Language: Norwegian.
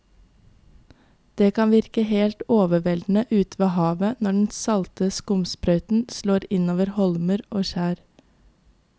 Det kan virke helt overveldende ute ved havet når den salte skumsprøyten slår innover holmer og skjær.